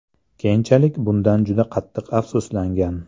Keyinchalik bundan juda qattiq afsuslangan.